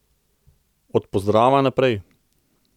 Od pozdrava naprej!